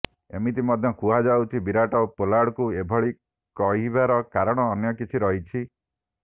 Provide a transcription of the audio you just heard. ଏମିତି ମଧ୍ୟ କୁହାଯାଉଛି ବିରାଟ ପୋଲାର୍ଡଙ୍କୁ ଏଭଳି କହିବାର କାରଣ ଅନ୍ୟ କିଛି ରହିଛି